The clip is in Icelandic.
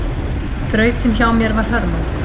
Þrautin hjá mér var hörmung